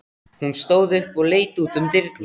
Hún stóð upp og leit út um dyrnar.